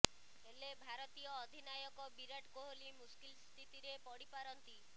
ହେଲେ ଭାରତୀୟ ଅଧିନାୟକ ବିରାଟ କୋହଲି ମୁସ୍କିଲ ସ୍ଥିତିରେ ପଡି ପାରନ୍ତି